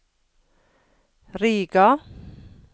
Riga